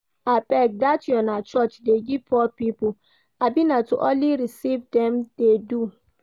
Abeg, dat una church dey give poor people? abi na to only receive dem dey do